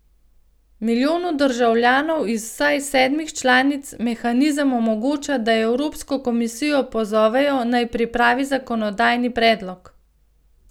Milijonu državljanov iz vsaj sedmih članic mehanizem omogoča, da evropsko komisijo pozovejo, naj pripravi zakonodajni predlog.